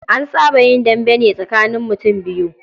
An saba yin dambe ne tsakanin mutum biyu.